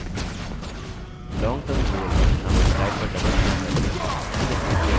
long term goal नामक slide पर double click करके उसे चुनते हैं